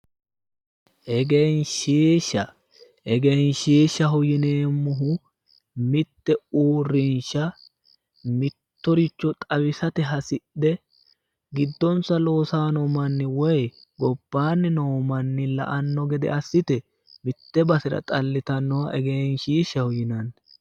Egenshiishsha, egenshiishshaho yineemmohu mitte uurrinsha mittoricho xawisate hasidhe giddonsa loosay no woy gobbaanni noo manni la"anno gede assite mitte basera xalitannoha egenshiishshaho yinanni.